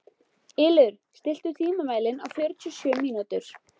Ylur, stilltu tímamælinn á fjörutíu og sjö mínútur.